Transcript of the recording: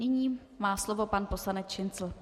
Nyní má slovo pan poslanec Šincl.